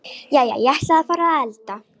Jæja, ég ætla að fara að elda.